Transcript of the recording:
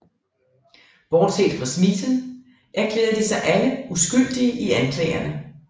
Bortset fra Smeaton erklærede de sig alle uskyldige i anklagerne